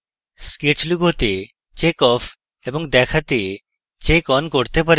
sketch লুকোতে check off এবং দেখাতে check on করতে পারেন